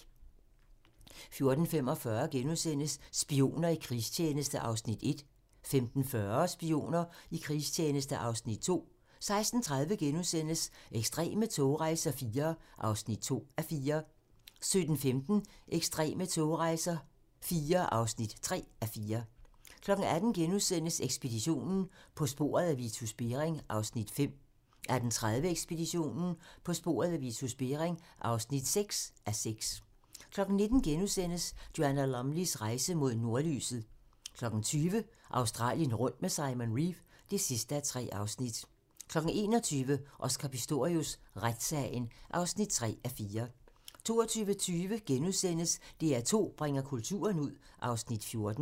14:45: Spioner i krigstjeneste (Afs. 1)* 15:40: Spioner i krigstjeneste (Afs. 2) 16:30: Ekstreme togrejser IV (2:4)* 17:15: Ekstreme togrejser IV (3:4) 18:00: Ekspeditionen - På sporet af Vitus Bering (5:6)* 18:30: Ekspeditionen - På sporet af Vitus Bering (6:6) 19:00: Joanna Lumleys rejse mod nordlyset * 20:00: Australien rundt med Simon Reeve (3:3) 21:00: Oscar Pistorius: Retssagen (3:4) 22:20: DR2 bringer kulturen ud (Afs. 14)*